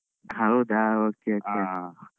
ಹೌದ okay okay.